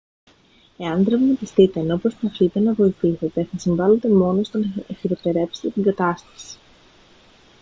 εάν τραυματιστείτε ενώ προσπαθείτε να βοηθήσετε θα συμβάλετε μόνο στο να χειροτερέψετε την κατάσταση